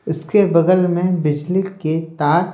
उसके बगल में बिजली के तार--